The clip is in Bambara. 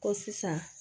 Ko sisan